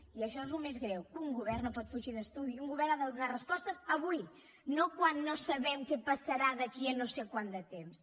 i això és el més greu que un govern no pot fugir d’estudi un govern ha de donar respostes avui no quan no sabem què passarà d’aquí a no sé quant de temps